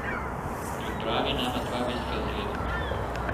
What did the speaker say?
Pripravi nama dva viskija z ledom.